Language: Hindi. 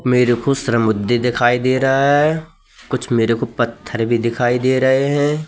मेरे को श्रमुधि दिखाई दे रहा है। कुछ मेरे को पत्थर भी दिखाई दे रहे हैं।